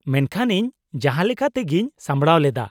ᱼᱢᱮᱱᱠᱷᱟᱱ ᱤᱧ ᱡᱟᱦᱟᱸᱞᱮᱠᱟᱛᱮᱜᱤᱧ ᱥᱟᱢᱲᱟᱣ ᱞᱮᱫᱟ ᱾